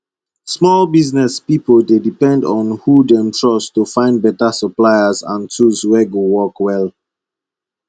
small business pipo dey depend on who dem trust to find beta suppliers and tools wey go work well